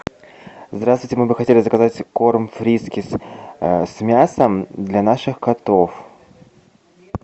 здравствуйте мы бы хотели заказать корм фрискис с мясом для наших котов